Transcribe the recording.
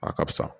A ka fisa